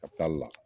Ka taali la